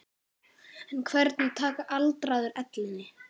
En hvernig taka aldraðir ellinni?